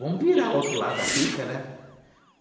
Vamos virar o outro lado da ficha, né?